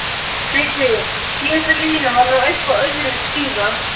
TRYGGVI: Síðasta línan var nú eitthvað öðruvísi síðast.